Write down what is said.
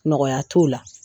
Nɔgɔya t'o la